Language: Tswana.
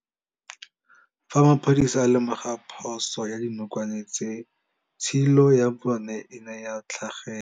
Fa maphodisa a lemoga phôso ya dinokwane tse, tshilô ya bone e ne ya tlhagela.